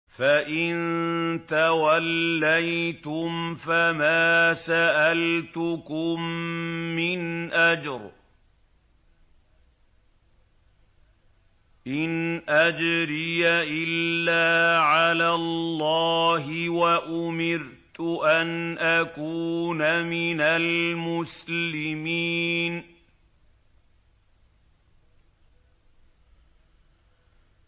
فَإِن تَوَلَّيْتُمْ فَمَا سَأَلْتُكُم مِّنْ أَجْرٍ ۖ إِنْ أَجْرِيَ إِلَّا عَلَى اللَّهِ ۖ وَأُمِرْتُ أَنْ أَكُونَ مِنَ الْمُسْلِمِينَ